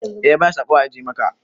Eh ya bada saƙo a ajiye maka.